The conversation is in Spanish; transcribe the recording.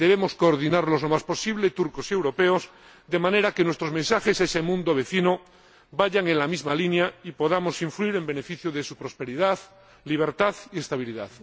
Debemos coordinarnos lo más posible turcos y europeos, de manera que nuestros mensajes a ese mundo vecino vayan en la misma línea y podamos influir en beneficio de su prosperidad, libertad y estabilidad.